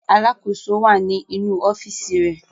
Alákòóso wà ní inú ọ́fíísì rẹ̀.